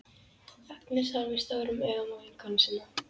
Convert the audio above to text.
Agnes horfir stórum augum á vinkonu sína.